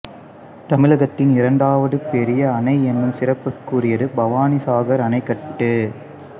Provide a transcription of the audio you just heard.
தமிழகத்தின் இரண்டாவது பெரிய அணை என்னும் சிறப்புக்குரியது பவானிசாகர் அணைக்கட்டு